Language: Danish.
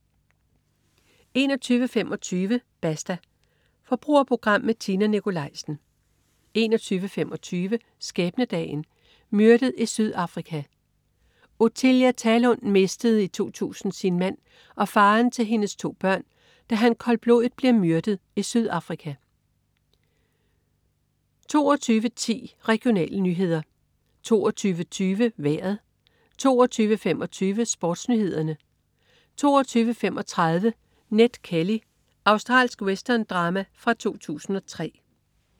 21.25 Basta. Forbrugerprogram med Tina Nikolaisen 21.25 Skæbnedagen. Myrdet i Sydafrika. Othilia Thalund mistede i 2000 sin mand og faderen til hendes to børn, da han koldblodigt bliver myrdet i Sydafrika 22.10 Regionale nyheder 22.20 Vejret 22.25 SportsNyhederne 22.35 Ned Kelly. Australsk western-drama fra 2003